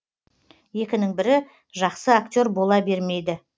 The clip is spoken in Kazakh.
екінің бірі жақсы актер бола бермейді